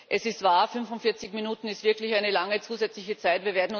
Es ist wahr, 45 Minuten sind wirklich eine lange zusätzliche Zeit.